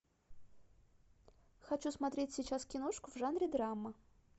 хочу смотреть сейчас киношку в жанре драма